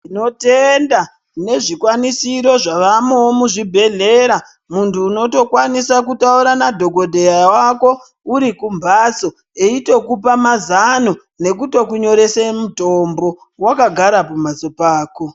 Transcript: Tinotenda nezvikwanisiro zvavamoo muzvibhedhlera muntu unotokwanisa kutaura madhokoteya wako urikumbaso echitokupa mazano nekutokunyorese mitombo wakagara kumhatso kwako.